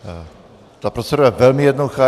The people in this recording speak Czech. Ta procedura je velmi jednoduchá.